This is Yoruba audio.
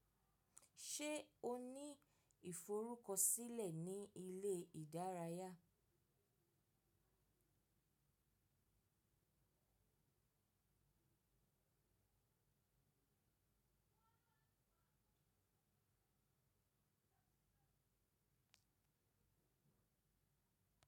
Ṣé o ní ìforúkọ sílẹ̀ ní ilé ìdárayá?